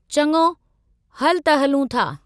चङो, हलु त हलूं था।